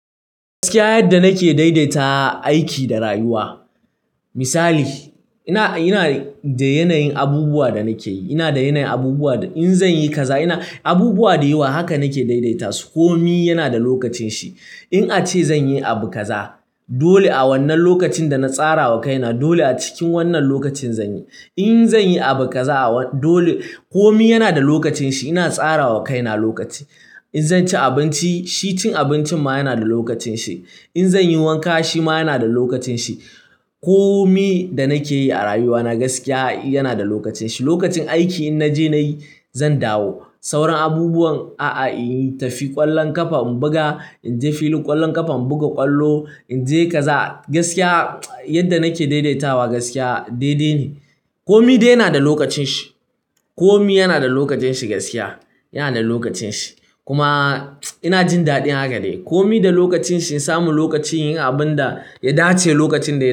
Gaskiya, yadda nake daidaita aiki da rayuwa. Misali, ina da yanayin abubuwan da nake yi. Ina da yanayin abubuwan da in zan yi kaza. Abubuwa da yawa haka nake daidaita su. Komi yana da lokacin shi. In ace zan yi abu kaza, dole a wannan lokacin da na tsarawa kaina. Dole a cikin wannan lokacin zan yi. In zan yi abu kaza, dole kowa yana da lokacin shi. Ina tsarawa kaina lokaci. In zan ci abinci, shi cin abincin ma yana da lokacin shi. In zan yi wanka, shi ma yana da lokacin shi. Komi da nake yi a rayuwa na gaskiya yana da lokacin shi. Lokacin aiki in naje nayi, zan dawo. Sauran abubuwan a'a in yi tafin ƙwallon ƙafa, in buga, in je filin ƙwallon ƙafa in buga ƙwallo, in je kaza. Gaskiya, yadda nake daidaitawa gaskiya daidai ne. Kowa dai yana da lokacin shi. Komi yana da lokacin shi gaskiya. Yana da lokacin shi. Kuma ina jin daɗin haka dai. Kowa da lokacin shi. In samu lokaci yin abun da ya dace lokacin da.